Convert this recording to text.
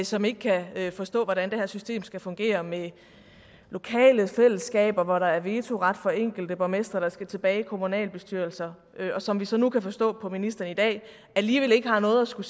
som ikke kan forstå hvordan det her system skal fungere med lokale fællesskaber hvor der er vetoret for enkelte borgmestre der skal tilbage i kommunalbestyrelserne og som vi så nu kan forstå på ministeren i dag alligevel ikke har noget at skulle